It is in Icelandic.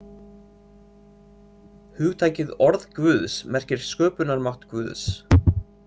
Hugtakið orð Guðs merkir sköpunarmátt Guðs.